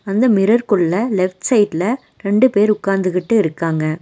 அந்த மிரர் குள்ள லெஃப்ட் சைட்ல ரெண்டு பேர் உக்காந்துகிட்டு இருக்காங்க.